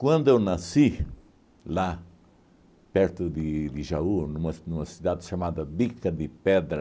Quando eu nasci lá, perto de de Jaú, numa ci numa cidade chamada Bica de Pedra,